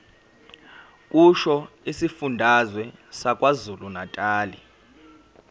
kusho isifundazwe sakwazulunatali